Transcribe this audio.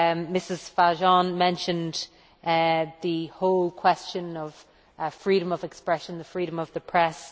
Ms Fajon mentioned the whole question of freedom of expression and freedom of the press